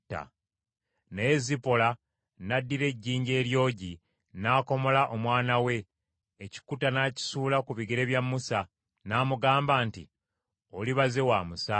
Naye Zipola n’addira ejjinja eryogi, n’akomola omwana we, ekikuta n’akisuula ku bigere bya Musa, n’amugamba nti, “Oli baze wa musaayi!”